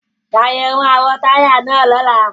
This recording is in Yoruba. Ṣayẹwo awọn taya naa lọla!